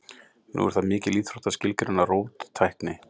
Nú er það mikil íþrótt að skilgreina róttækni.